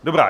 Dobrá.